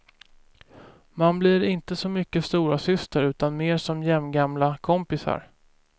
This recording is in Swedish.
Man blir inte så mycket storasyster utan mer som jämngamla kompisar.